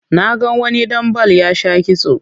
Na ga wani ɗan bal ya sha kitso